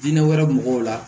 Diinɛ wɛrɛ mɔgɔw la